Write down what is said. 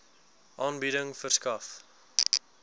aanbieding verskaf